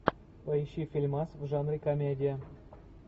поищи фильмас в жанре комедия